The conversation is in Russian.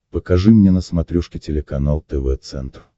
покажи мне на смотрешке телеканал тв центр